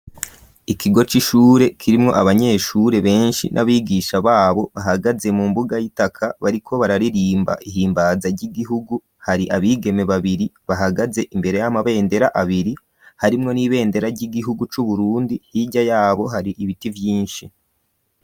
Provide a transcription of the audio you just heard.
Ikigo c'ishure kirimwo abanyeshure benshi n'abigisha babo bahagaze mu mbuga y'itaka bariko bararirimba ihimbaza ry'igihugu hari abigeme babiri bahagaze imbere y'amabendera abiri harimwo n'ibendera ry'igihugu cu Burundi hirya yabo hari ibiti vyinshi.